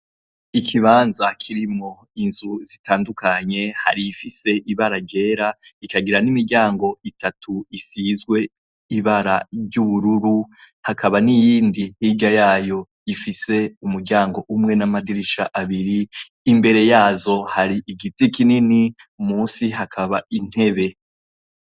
Ikibanza kirimwo inzu zitandukanye harimwo igifise ibara ryera rikagira nimiryango itatu isizwe ibara ryubururu hakaba niyindi hirya yayo rifise umuryango umwe namadirisha abiri imbere yazo hari igiti kinini munsi yazo hakaba intebe